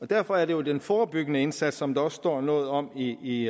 derfor er det jo den forebyggende indsats som der også står noget om i